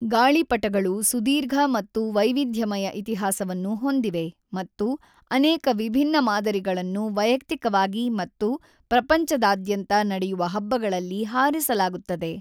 ಗಾಳಿಪಟಗಳು ಸುದೀರ್ಘ ಮತ್ತು ವೈವಿಧ್ಯಮಯ ಇತಿಹಾಸವನ್ನು ಹೊಂದಿವೆ ಮತ್ತು ಅನೇಕ ವಿಭಿನ್ನ ಮಾದರಿಗಳನ್ನು ವೈಯಕ್ತಿಕವಾಗಿ ಮತ್ತು ಪ್ರಪಂಚದಾದ್ಯಂತ ನಡೆಯುವ ಹಬ್ಬಗಳಲ್ಲಿ ಹಾರಿಸಲಾಗುತ್ತದೆ.